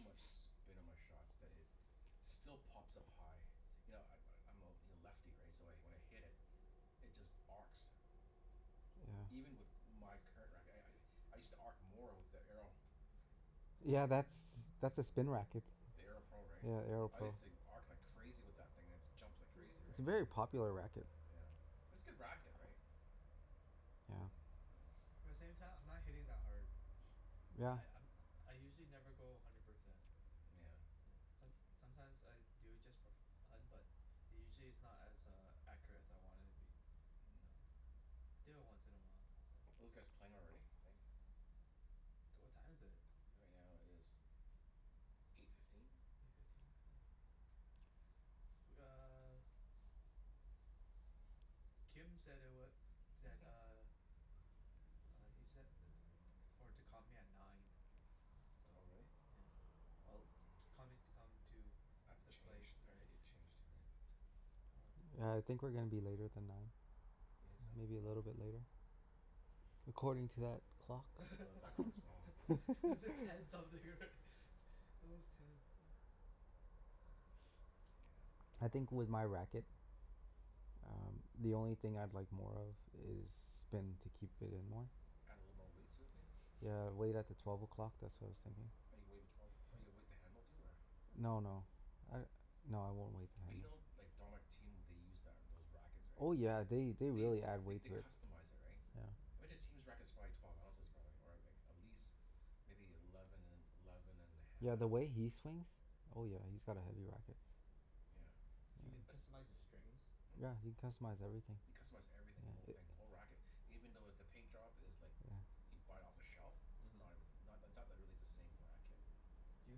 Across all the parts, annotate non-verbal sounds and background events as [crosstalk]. much spin on my shots that it still pops up high. You know I- I'm I'm a l- lefty, right? So wh- when I hit it it just arcs. Yeah. Even with my current racket. I I I I used to arc more with the Arrow. Yeah, that's that's a spin racket. The Arrow Pro, right? Yeah, the Arrow I Pro. used to arc like crazy with that thing. It just jumps like crazy, It's right? a very [noise] popular racket. Yeah. It's good racket, right? Yeah. Yeah. But at the same time, I'm not hitting that hard. [noise] Yeah. Li- I'm I usually never go a hundred percent. Nyeah. Yeah. Som- sometimes I do it just for f- fun, but usually it's not as uh accurate as I want it to be. Mm. So, do it once in a while. So Are those guys playing already, you think? D- what time is it? Right now it is eight fifteen. Eight fifteen? Yeah. W- uh [noise] Kim said it wa- that [laughs] uh uh he said i- t- for to call me at nine. So, Oh, really? yeah. Well to call me to come to I have to the place, change, I have to right? get Yeah. changed here, Yeah. right? All right. Yeah, I think we're gonna be later than nine. You think Maybe a so? Oh. little bit later? According to that clock. Well th- that clock's wrong. [laughs] Is it [laughs] ten something, right? It was ten. I Yeah, aw think I with my racket um the only thing I'd like more of is spin to keep it in more. Add a little more Mm. weight sort of thing? Yeah, [noise] weight at the twelve o'clock, that's what I was thinking. Oh, you weight at [noise] twelve oh, you weight the handle too, or No no. I, no, I won't weight the But you know handles. like [inaudible] what they use that those rackets, right? Oh yeah, they they They really th- add th- weight they to it. customize it, right? Yeah. I bet that team's racket's probably twelve ounces probably, or like at least maybe eleven and eleven and a Yeah, half, the or way he swings Oh yeah, he's got a heavy racket. Yeah. Do I- uh you but customize the strings? Hmm? Yeah, you can customize everything. You customize everything. The whole thing. The whole racket. [noise] Even though with the paint job is like Yeah. you buy it off the shelf. It's uh-huh. not as, not that's not really the same racket. Do you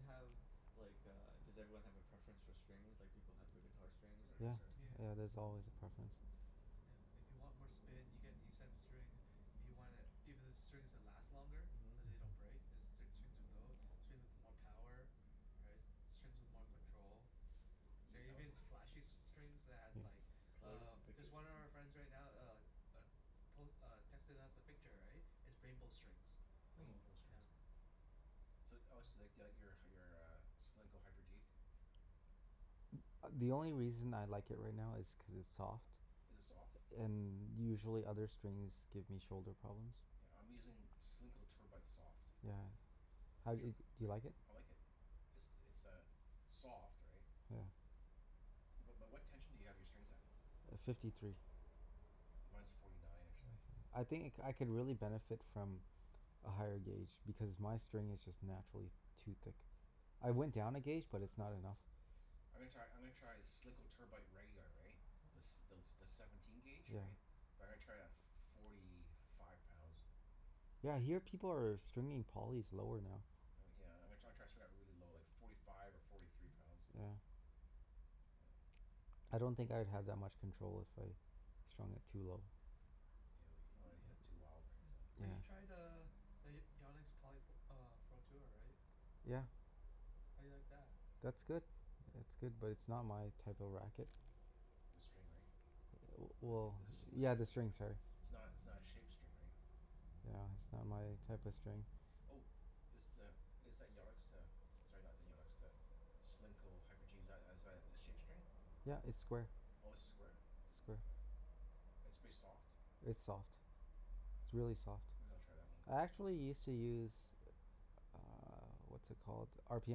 have like a, does everyone have a preference for strings like people have for guitar strings? Everybody Yeah. has their Yeah. Yeah, there's always a preference. Yeah. If you want more spin you get these type of string If you want it, even the [noise] strings that last longer. Mhm. So they don't break. There's s- strings of tho- Strings with more power. Right? S- strings with more control. You There are oh even s- flashy s- strings that have like Colors uh, and just pictures one and of our stuff? friends right now uh uh, pos- uh, texted us a picture, right? Is rainbow strings. Oh. Rainbow Yeah. strings. So oh so you like the out your uh your uh Solinco Hyper G? A- the only reason I like it right now is cuz it's soft. Is it soft? And usually other strings give me shoulder problems. Yeah, I'm using Solinco Tour Bite soft. Yeah. How Have di- you tri- do you Are y- like it? I like it. It's it's a soft, right? Yeah. But but what tension do you have your strings at? Uh, fifty three. Mine's forty nine, actually. I think I c- could really benefit from a higher gauge, because my string is just naturally too thick. [noise] I went down a gauge but it's not enough. I'm gonna try, I'm gonna try Solinco Tour Bite regular, right? The s- thel- the seventeen gauge, Yeah. right? But I'm gonna try it at forty five pounds. Yeah, I hear people are stringing polys lower now. Oh yeah, I'm gonna try try to string that really low, like forty five or forty three pounds. Yeah. Mm. I don't think I'd have that much control if I strung it too low. Yeah, you don't wanna hit it too wild, Yeah, right? So but Yeah. you tried uh the Y- Yannick's poly p- uh Pro Tour, right? Yeah. Yeah? How do you like that? That's good. Yeah. It's good. But it's [noise] not my type of racket. Mm. The string, right? W- Th- well i- it's a smooth yeah, string, the i- string's hard. it's not it's not Mm. a shaped string, right? Yeah, it's not my type of string. Mhm. Oh. Is the, is that Yannick's uh, sorry, not the Yannick's, the Solinco Hyper G, is that as a shape string? Yeah, it's square. Oh, it's square? Oh, Square. okay. It's pretty soft? It's soft. It's really soft. [noise] Maybe I'll try that one. I actually used to use uh, what's it called? R p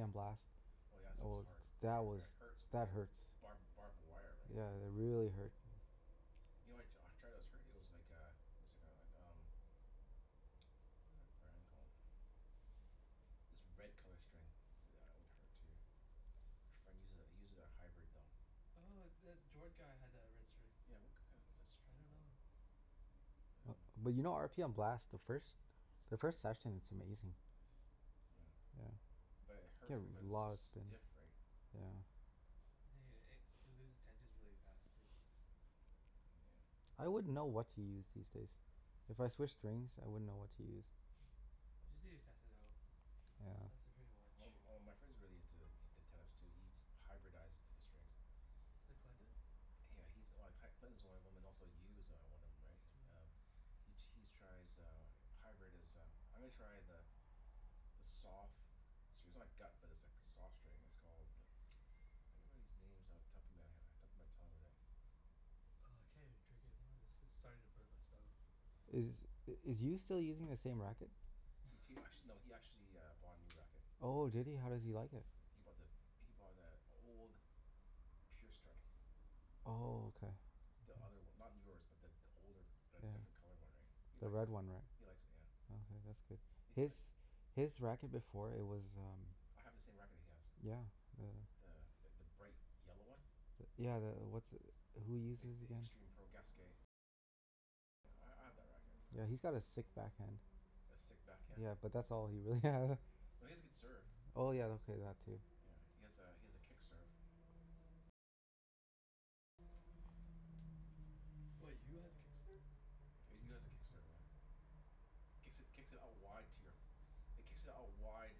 m Blast. Oh yeah, that Oh stuff's well, hard. I- that was, it hurts, like that the hurts. barb- barbed wire, right? Yeah, they really hurt. You know what I t- try that was hurt? It was like a it was like a um what was that brand called? This red color string. [noise] That one hurt too. My friend uses it, he uses a hybrid, though. Oh, the Jord guy had the red strings. Yeah, what k- k- what was that I string don't called? know. [noise] But you know r p m Blast, the first the first session it's amazing. Yeah. Yeah. But it Get hurts because re- a it's so lot of spin. stiff, right? Yeah. Yeah yeah yeah. It it loses tensions really fast, too. Yeah. I wouldn't know what to use these days. If I switched strings, I wouldn't know what to use. Yeah. [noise] You just need to test it out. Yeah. That's the pretty Well much m- m- my friend's really into t- tennis too. He hyberdized the strings. The Clinton? Yeah, he's like C- Clinton's one of them, and also Yu is uh one of them, right? Mm. Um He he's tries uh hybrid is uh, I'm gonna try the the sof- [inaudible] gut but it's like soft string. It's called I can't remember these names off the top of my he- top of my tongue whadat- Oh, I can't even drink anymore of this. This is starting to burn my stomach. Is Yeah. is Yu still using the same racket? He t- act- no, he [laughs] actually bought a new racket. Oh, did he? How does he like it? He he he bought the, he bought the old Pure Strike. Oh, okay. The other one. Not yours but th- the older, the Yeah. different colored one, right? He The likes red it. one, right? He likes it, yeah. Oh, yeah, that's good. He His like his racket before, it was um I have the same racket he has. Yeah, uh The th- the bright yellow one. Yeah, the, what's, who uses it again? Yeah, he's got a sick backhand. A sick backhand? Yeah, but that's all he really has. No, he has a good serve. Oh yeah, okay, that too. Yeah. He has a he has a kick serve. What, Yu has a kick serve? Yu has a kick serve, yeah. Mm. Kicks it kicks it out wide to your It kicks out wide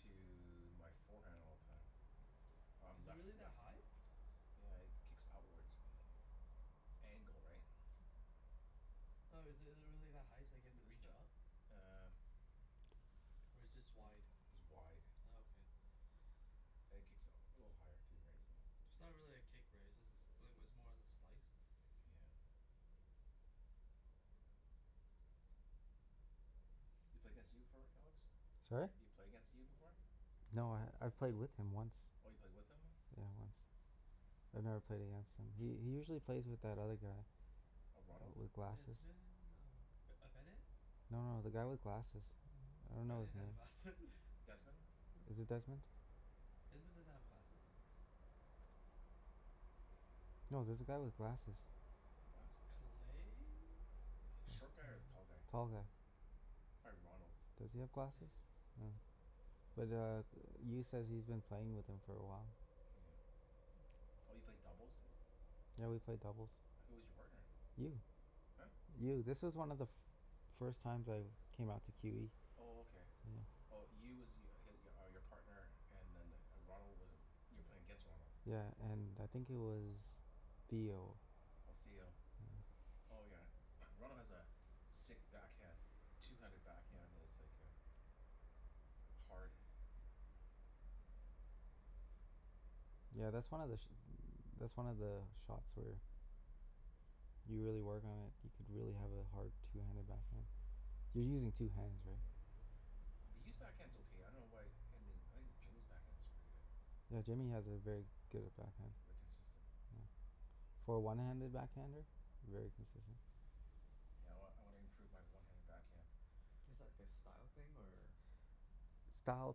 to my forehand all the time. I'm Is it left really that left ha- high? Yeah, he kicks outwards [inaudible] angle, right? Hmm. No, is it it really that high, like you have to reach up? [inaudible] Uh Or it's just wide? Just wide. Oh, okay. And it kicks u- a little higher too, right? So It's not really a kick, right? It's just a sl- like, it was more of a slice. Yeah. You play against Yu before, right Alex? Sorry? You play against Yu before? No, I've played with him once. Oh, you played with him? Yeah, once. I've never played against him. He he usually plays with that other guy. A Ronald? W- with glasses. Desmond? Oh, B- uh Bennett? No no, the guy with glasses. I don't know Ben- Bennett his name. has glasse- [laughs] Desmond? Is it Desmond? Desmond doesn't have glasses though. No, there's a guy with glasses. Glasses? Clay? Short guy or the tall guy? Tall guy. Probably Ronald. Does he have Yeah yeah glasses? yeah. Yeah. Mm. But uh Yu says he's been playing with him for a while. Yeah. Oh, you played doubles w- Yeah, we played doubles. Who was your partner? Yu. Huh? Yu. This was one of the f- first times I came out to q e. Oh, okay. Mm. Oh, Yu was y- h- are your partner and then the Ronald was you were playing against Ronald? Yeah, and I think he was [noise] Theo. Oh, Theo. Yeah. Oh yeah. [noise] Ronald has a sick backhand. two-handed backhand that's like a like hard. [noise] Yeah, that's one of the sh- [noise] that's one of the shots where you really work on it you could really have a hard two-handed backhand. [noise] You're using two hands, right? Yeah. B- but Yu's backhand's okay. I dunno why I mean I think Jimmy's backhand's really good. Yeah, Jimmy has a very good backhand. Very [noise] consistent. For a one-handed backhander? Very consistent. Yeah, I wan- I wanna improve my one-handed backhand. Is that like a style thing or Style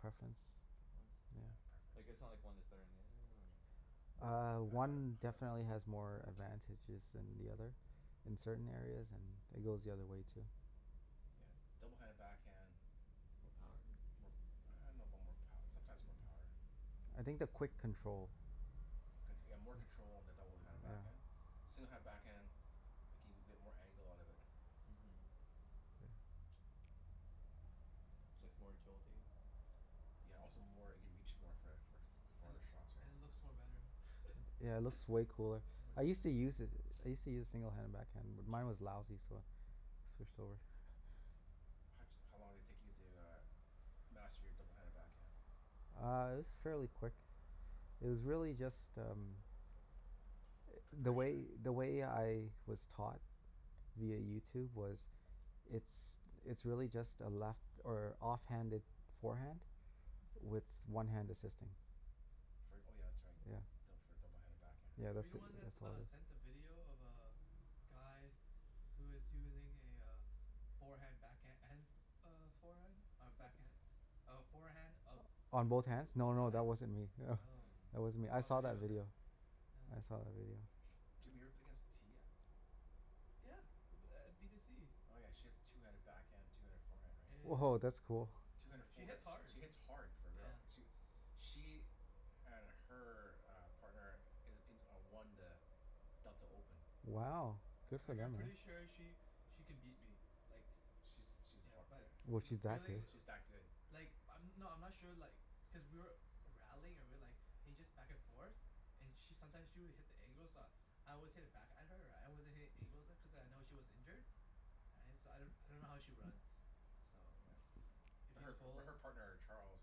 preference. Preference. Yeah. Yeah, preference, Like, yeah. it's not like one is better than the other or Uh, [noise] That's how I one how I definitely has more [noise] advantages than the other. In certain areas. And it goes the other way too. Yeah. Mm. double-handed backhand More is power? more I dunno about more pow- sometimes more power. I think the quick control. Con- yeah, more control on the double-handed Yeah. backhand. single-handed backhand, like you can get more angle out of it. Mhm. It's like more agility. Yeah, also more, you can reach more for for f- And farther shots, i- right? it looks more better. Yeah, it [laughs] looks way cooler. Yeah. [noise] I used to [inaudible] use it. I used to use Mm. single-handed backhand, [noise] but mine was lousy, so I switched over. How d- how long did it take you to uh master your double-handed backhand? Uh, it was fairly quick. Mm. It was really just um the Preparation, way right? the way I was taught via YouTube was it's it's really just a left or off-handed forehand [noise] with one hand assisting. Fr- oh yeah, that's right. Yeah, Yeah. d- for a double-handed backhand, Yeah, right? Were you that's the it, one that s- that's what uh it is. sent the video of uh guy who is using a uh forehand backhand and f- f- uh forehand? Or backhand? A forehand of On both b- hands? No both no, sides? that wasn't me. [laughs] Oh. Mm. That wasn't I me. I saw a saw that video of that. video. Yeah. I saw that video. [noise] Jimmy, you ever play Yeah. against Tia? Yeah, u- b- at b to c. Oh yeah, she has two-handed backhand, two-handed forehand, Yeah right? yeah Woah, that's cool. yeah. Yeah. two-handed She foreha- hits hard. she hits hard for a girl. Yeah. She w- she and her uh partner i- in a won the Delta Open. Wow, Yeah. good Mhm. for Like I'm them, hey? pretty sure she she could beat me, like She's she's yeah, har- yeah. but Was the she that feeling good? w- She's that good. Like, I'm, no I'm not sure like because we were rallying or we like he just back and forth. And she sometimes she would hit the angles uh I always hit it back at her Right? I wasn't hitting angles at cuz I know she was injured. Right? So I d- I don't know how she runs. So Yeah. [noise] if But she's her but full her partner Charles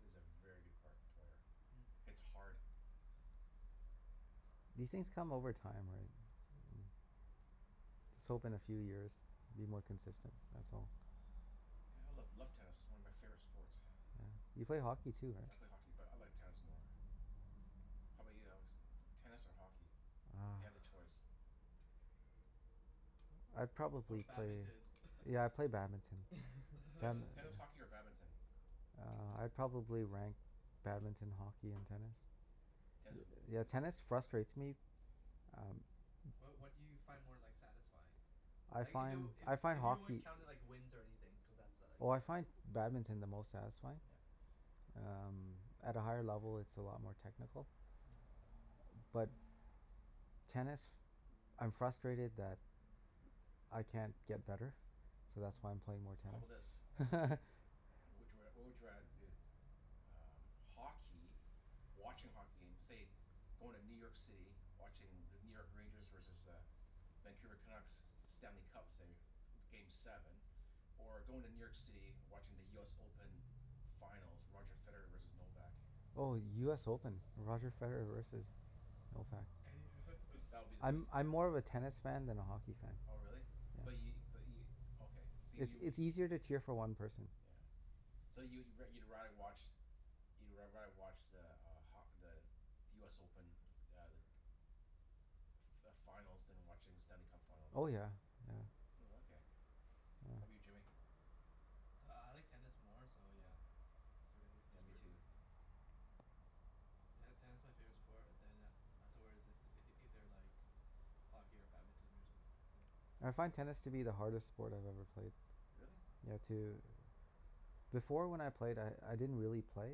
is a very good part- player. Mm. Hits hard. Yeah. These things come over time, right? Just hope in a few years be more consistent, that's all. Yeah, I love love tennis. It's one of my favorite sports. Yeah. You play hockey too, right? I [noise] play hockey but I like tennis more. How 'bout you, Alex? [noise] Tennis or hockey? If you Oh. had a choice. I'd Or probably play badminton? [laughs] Yeah, I'd play badminton. Tennis Ten [laughs] tennis, [laughs] hockey, or badminton? Uh, I'd probably rank badminton, hockey, and tennis. Tennis is l- i- Yeah, i- tennis frustrates me. Um Wha- what do you find more like satisfying? [noise] I Like if it find, w- I if find if you weren't hockey counting like wins or anything, cuz that's a like Oh a I find badminton the most satisfying. Yeah. [noise] Um, at a higher level it's a lot more technical. Mm. But tennis, I'm frustrated that I can't get better, so that's why I'm playing more So how tennis. bout Mm. this? [laughs] Mhm. What would you r- what would you rather do? Um, hockey watching hockey game, say going to New York City. Watching the New York Rangers versus the Vancouver Canucks, Stanley Cup, say, game seven. Or going to New York City, watching the US Open finals. Roger Federer versus Novak. Oh, US Open. Roger Federer versus Mm. Novak. That would be the eas- I'm [laughs] I'm more of a tennis fan than a hockey fan. Oh really? But Yeah. y- but y- okay. So y- It's you w- it's easier to cheer for one person. Yeah. So you wo- you'd rather watch you'd r- rather watch the uh ho- the the US Open uh like f- f- finals than watching the Stanley Cup finals? Oh yeah, yeah. Mm. Mm. Oh, okay. [noise] How 'bout Yeah. you Jimmy? Uh I like tennis more so yeah It's really, Yeah. Yeah, it's me really, too. yeah Ten- tennis my favorite sport, then a- afterwards is ei- either like hockey or badminton or something. That's it. I find tennis to be the hardest sport I've ever played. Really? Yeah, to Before when I played I I didn't really play.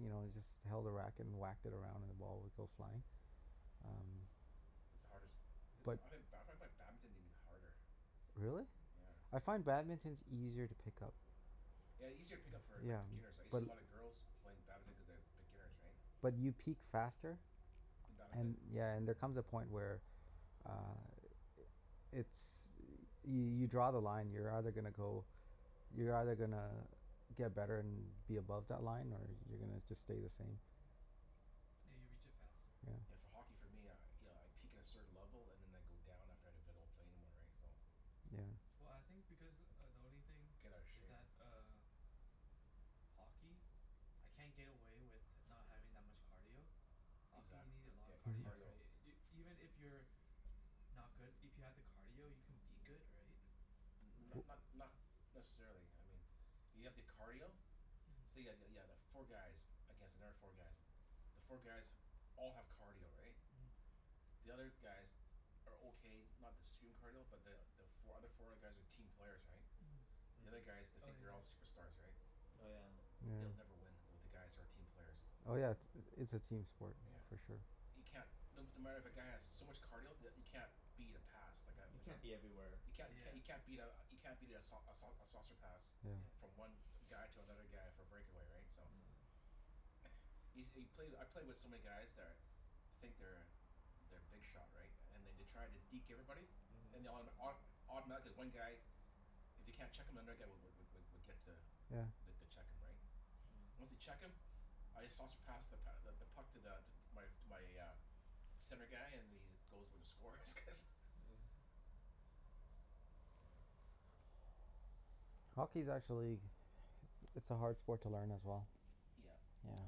You know, I Mm. just held a racket and whacked it around and the ball would Mm. go flying. Um It's the hardest is But I ha- ba- I find badminton even harder. Really? Hmm. Yeah. I find badminton's easier to pick up. Yeah, easier to pick up for like Yeah, beginners, right? You see but a lot of girls playing badminton cuz they have beginners, right? But you peak faster In badminton? and, yeah, and there comes a Mm. point where uh it's, y- you draw the line. You're either gonna go, you're either gonna get better and be above that line or Mhm. you're gonna just stay the same. Hmm. Yeah, you reach it faster. Yeah, Yeah. for hockey for me, I you know I peak at a certain level and then I go down after if I don't play anymore, right? So Yeah. Well, I think because uh the only thing Get outta is shape. that uh hockey? I can't get away with h- not having that much cardio. Hockey, Exac- you need a lot yeah, of in cardio, [noise] cardio. right? I- Y- even if you're not good, if you have the cardio you can be good, right? N- Right? not [noise] not But [noise] not [noise] necessarily, I mean if you have the cardio say Mhm. yeah yeah yeah the four guys against another four guys. The four guys all have cardio, right? Mm. The other guys are okay. Not the stream cardio but the the fo- other four guys are team players, right? The other guys, Mm. they Mm. Oh, think they're yeah all yeah. superstars, right? Oh yeah. Yeah. They'll never win with the guys who are team Mm. players. Oh yeah, it's a team sport Yeah. Mm. for sure. You can't No no matter if a guy has so Yeah. much cardio that you can't beat a pass. Like a You like Mhm. a can't be everywhere. You can't c- Yeah. you can't beat a you can't beat a sau- a sau- a saucer pass. Yeah. Yeah. Mm. [noise] From one guy to another [noise] guy for a breakaway, right? So Yeah. [noise] Yo- you play I play with so many guys that are think they're they're big shot right? [noise] And they d- try to deke everybody? And Mhm. they autom- auto- automatically one guy if they can't check him another guy w- w- w- would get to Yeah. the to check him, right? Once they Myeah. check him I just saucer pass the p- th- the puck to the to my to my uh center guy and then he just goes for the score cuz Yeah. Yeah. Hockey's actually it's a hard sport to learn as well. Yeah. Hmm. Yeah.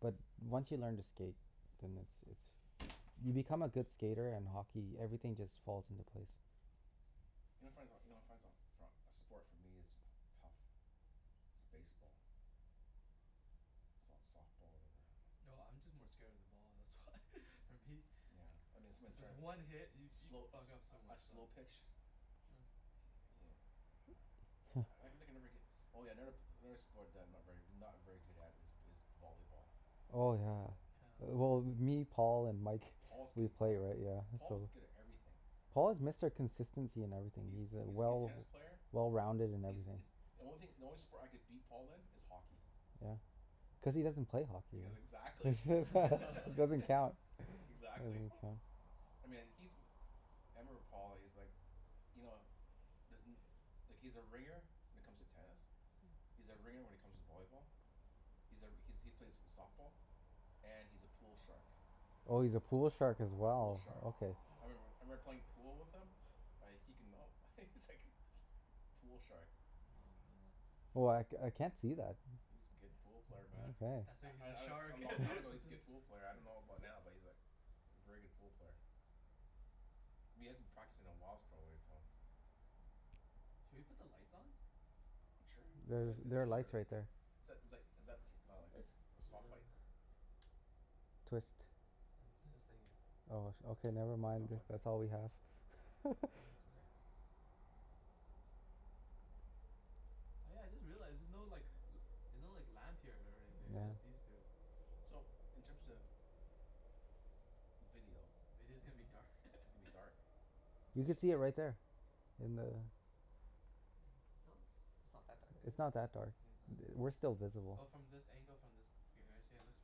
But once you learn to skate then it's it's you become a Woah. good skater and hockey, everything just falls into place. You know what I find so, you know what I find so for a a sport for me is tough is baseball. S- softball, whatever. No, I'm just more scared of the ball, that's why. [laughs] For me. Yeah, I mean [laughs] someone's Cuz trying to one hit, y- you could slow a fuck up so sl- a much stuff. slow pitch Yeah. he uh yeah. Yeah. I [laughs] can think I never get Oh yeah, never p- another sport that I'm not very not very good at is b- is volleyball. Oh, yeah. Yeah. Well me, Paul, and Mike. If Paul's good We at play, voll- right? Yeah, Paul so was good at everything. Paul is Mr. Consistency in everything. He's He's uh he's a good well tennis player. well-rounded in He's everything. is The only thing, the only sport I could beat Paul in is hockey. Yeah. Cuz he doesn't play hockey. Cuz exactly. [laughs] [laughs] Doesn't [laughs] count. Exactly. [laughs] Doesn't count. I mean, like he's m- I remember Paul. He's like you know doesn't like he's a ringer when it comes to tennis. He's a ringer when it comes to volleyball. He's a r- he's he plays softball. And he's a pool shark. Oh, he's a pool shark as Pool well? shark. Okay. I remember I Mhm. remember playing pool with him like he can, no, he's Mm. like pool shark. Oh, Hmm man. Oh, I c- I can't see that. He's a good hmm. pool player, man. Mkay. That's why I he's a I d- a shark. [laughs] long That's time ago he's a why good pool player. I dunno about [laughs] now but he's like a very good pool player. But he hasn't practiced in a whiles probably so Hmm. Should we put the lights on? Sure. There's It's it's there [noise] are lights cooler. right there. Is that is like is that t- wow like It's soft light? cooler. Twist. I'm twisting it. Oh, sh- okay, never It's it's mind, not if plugged in. that's all we have. [laughs] It's Mhm. okay. Oh yeah, I just realized, there's no like l- there's no like lamp here or anything. Yeah. It's just these two. So, in [noise] terms Hmm. of video Video's gonna be Mhm. dark. [laughs] it's gonna be dark. You could see it [noise] right there. In the Yeah. No, it's it's not that dark, is It's it? not that dark Yeah. Yeah. I- we're still Well, visible. from this angle, from this [inaudible] it looks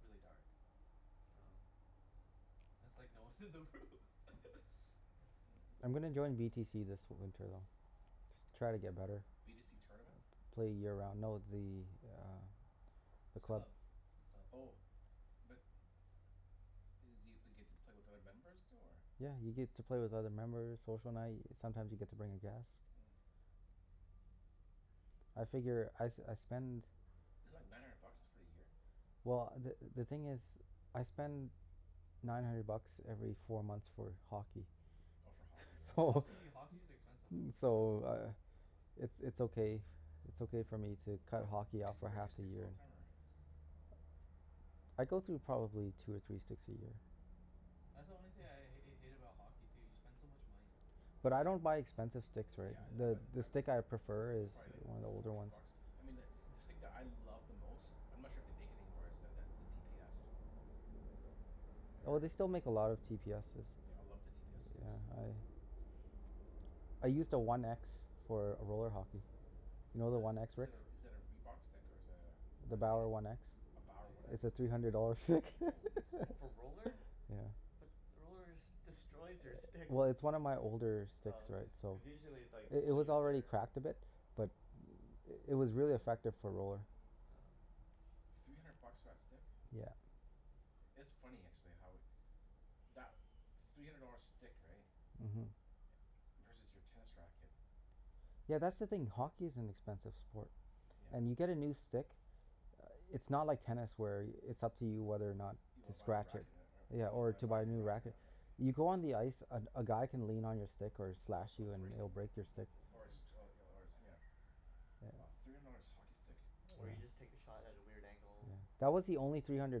really dark. Oh. Yeah. It's like no one's in the room. [laughs] Yeah. Hmm. I'm gonna join v t c this winter though. Try to get better. B to c tournament? Play year round, no the uh the It's a club. club. It's all Oh. But i- do you get to play with other members too, or Yeah, you get to play with other members. Social night. Sometimes you get to bring a guest. Mm. I figure I s- I spend Is it like nine hundred bucks for a year? well, the the thing is I spend nine hundred bucks every four months for hockey. Oh, for hockey, For right? So hockey? Hockey's expensive f- sport. so uh it's it's okay, it's okay for me to cut What? hockey off Cuz you for break half your a sticks all year. the time or Oh. I go through probably two or three sticks a year. That's the only thing Mm. I h- hate about hockey, too. You spend so much money. I But buy I don't buy expensive sticks, right? Yeah, I I buy The the m- th- stick I b- prefer it's is probably like one of the older forty ones. bucks. I mean the the stick [noise] that I love the most I'm not sure if they make it anymore is the the t p s. Have you ever Oh, hear- they still make a lot of t p s's. Yeah, I love the t p s sticks. Yeah, I I used a one x for a roller hockey. You know Is the that one x, is Rick? that a is that a Reebok stick, or is that a a The Nike? Bower one x? A Bower What? one x? It's a three hundred dollar stick. [laughs] Holy smokes. For roller? Yeah. But the rollers destroys your sticks. Well, it's one of my older s- sticks Oh, right, okay. so Cuz Yeah. usually it's like I- it people was use already their cracked a bit. But it was really effective for a roller. Oh. Three hundred bucks for that stick? Yeah. It's funny actually how it that three hundred dollar stick, right? Mhm. Versus your tennis racket. Yeah, that's the thing. Hockey is an expensive sport. And Yeah. you get a new stick it's not like tennis where it's up to you whether or not You to wanna buy a new scratch it. racket and er- Yeah, when you or wanna to buy buy a a new new racket or racket. not, right? You go on the ice, a g- a guy can lean on your stick or Yeah, slash a b- you and break it'll break your Oh, stick. is it? or a six Yeah. oh Mhm. y- or it's nyeah. Wow. Three hundred dollars hockey stick. [noise] Or you just take a shot at a weird angle. That was the only three hundred